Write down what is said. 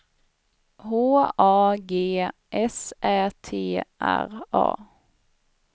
H A G S Ä T R A